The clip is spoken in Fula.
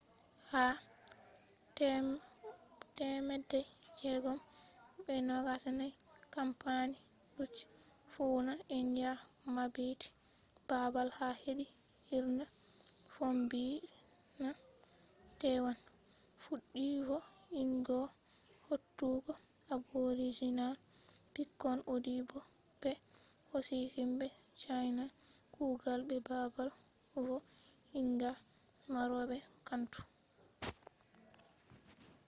ha 1624 kampani dutch fuuna india mabbiti babal ha hedi hirna fombina taiwan fuddi vo’ingo hautugo aboriginal pikkon audi bo be hosi himbe china kugal be babal vo’inga maro be cantu